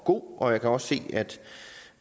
god og jeg kan også se